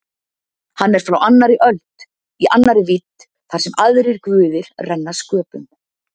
Hann er frá annarri öld- í annarri vídd þar sem aðrir guðir renna sköpum.